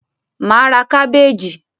Mà á ra kábèèjì.